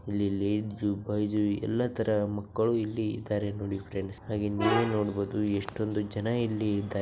Boys ಎಲ್ಲಾ ತರ ಮಕ್ಕಳು ಇಲ್ಲಿ ಇದ್ದಾರೆ ನೋಡಿ ಫ್ರೆಂಡ್ಸ್. ಹಾಗೆ --